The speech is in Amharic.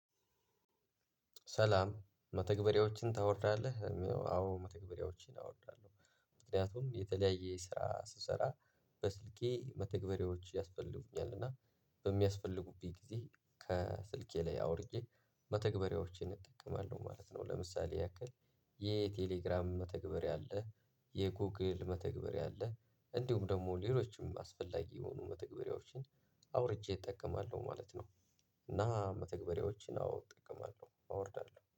ሰላም መተግበሪያዎችን ታወርዳለህ ለሚለው? አዎ መተግበሪያዎችን አወርዳለሁ ምክንያቱም የተለያየ ስራ ስሰራ በስልኬ መተግበሬዎች ያስፈልጉኛል እና በሚያስፈልጉብኝ ጊዜ ከስልኬ ላይ አውርጄ መተግበሪያዎቼን እጠቀማለሁ ማለት ነው። ለምሳሌ ያክል የቴሌግራም መተግበርያ አለ የጎግል መተግበሪያ አለ እንዲሁም ደግሞ ሌሎችም አስፈላጊ የሆኑ መተግበሪያዎችን አውርጄ እጠቀማለሁ ማለት ነው። እና መተግበሪያዎችን አዎ እጥቀማለሁ አወርዳለሁ።